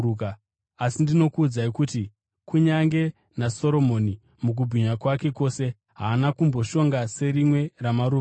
Asi ndinokuudzai kuti kunyange naSoromoni mukubwinya kwake kwose, haana kumboshonga serimwe ramaruva aya.